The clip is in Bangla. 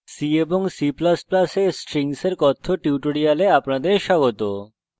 c এবং c ++ এ strings এর কথ্য tutorial আপনাদের স্বাগত